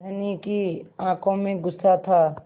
धनी की आँखों में गुस्सा था